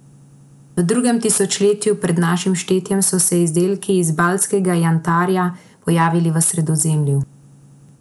V drugem tisočletju pred našim štetjem so se izdelki iz baltskega jantarja pojavili v Sredozemlju.